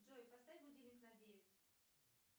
джой поставь будильник на девять